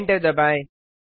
enter दबाएँ